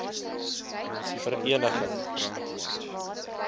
vereniging